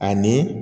Ani